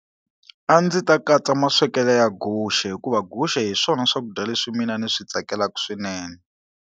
A ndzi ta katsa maswekelo ya guxe hikuva guxe hi swona swakudya leswi mina ni swi tsakelaka swinene.